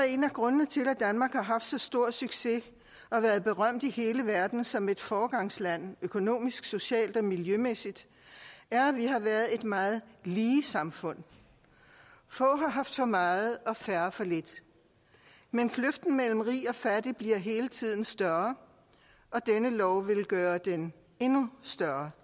en af grundene til at danmark har haft så stor succes og er berømt i hele verden som et foregangsland økonomisk socialt og miljømæssigt er at vi har været et meget lige samfund få har haft for meget og færre for lidt men kløften mellem rig og fattig bliver hele tiden større og denne lov vil gøre den endnu større